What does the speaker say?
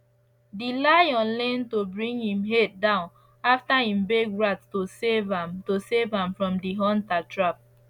di lion learn to bring him head down afta him beg rat to save am to save am from di hunter trap